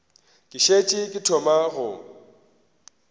ke šetše ke thoma go